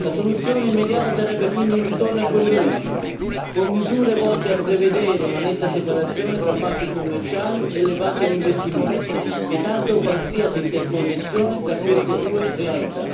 La soluzione immediata sarebbe quindi un ritorno a quelle origini con misure volte a prevedere una netta separazione tra banche commerciali e banche d'investimento, vietando qualsiasi interconnessione tra queste due realtà.